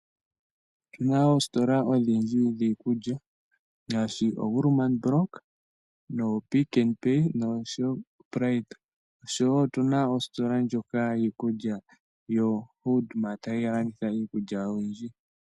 Otu na oositola odhindji dhiikulya ngaashi oWoermann Brock noPick 'n Pay noShoprite osho wo otu na ositola ndjoka yiikulya yoHoodMart hayi landitha iikulya oyindji.